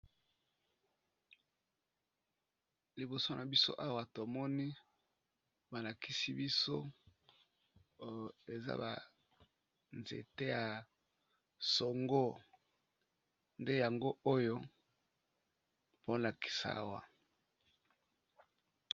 Liboso na biso awa tomoni balakisi biso oyo eza ba nzete ya songo, nde yango nde yango oyo baolakisa biso awa.